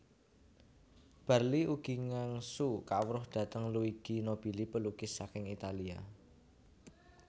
Barli ugi ngangsu kawruh dhateng Luigi Nobili pelukis saking Italia